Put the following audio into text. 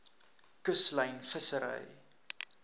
kuslyn vissery